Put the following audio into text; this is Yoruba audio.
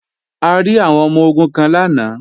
A rí àwọn ọmọ-ogun kan lánàá